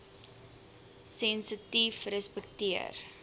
sensitiefrespekteer